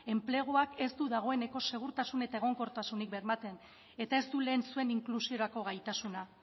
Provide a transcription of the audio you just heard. enpleguak ez du dagoeneko segurtasun eta egonkortasunik bermatzen eta ez du lehen zuen inklusiorako gaitasuna